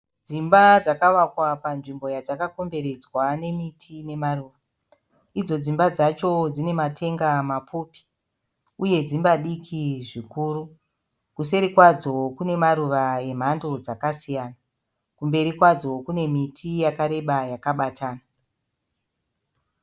Dzimba dzakavakwa panzvimbo yadzakakomberedzwa nemiti nemaruva. Idzo dzimba dzacho dzine matenga mapfupi uye dzimba diki zvikuru. Kuseri kwadzo kunemaruva emhando dzakasiyanazvakare kune miti yakareba yakabatana.